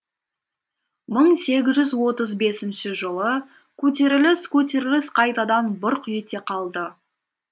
мың сегіз жүз отыз бесінші жылы көтеріліс көтеріліс қайтадан бұрқ ете қалды